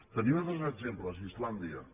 tenim altres exemples islàndia